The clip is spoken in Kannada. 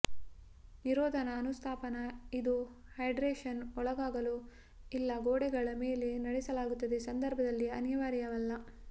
ನಿರೋಧನ ಅನುಸ್ಥಾಪನಾ ಇದು ಹೈಡ್ರೇಶನ್ ಒಳಗಾಗಲು ಇಲ್ಲ ಗೋಡೆಗಳ ಮೇಲೆ ನಡೆಸಲಾಗುತ್ತದೆ ಸಂದರ್ಭದಲ್ಲಿ ಅನಿವಾರ್ಯವಲ್ಲ